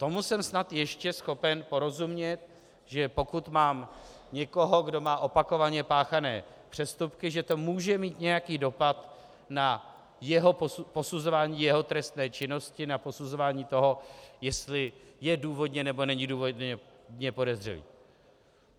Tomu jsem snad ještě schopen porozumět, že pokud mám někoho, kdo má opakovaně páchané přestupky, že to může mít nějaký dopad na posuzování jeho trestné činnosti, na posuzování toho, jestli je důvodně, nebo není důvodně podezřelý.